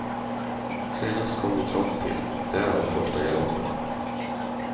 Senast kom vi trångt till, därav första galoppen.